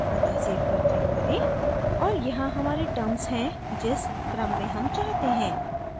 अत: save पर click करें और यहाँ हमारे terms हैं जिस क्रम में हम चाहते हैं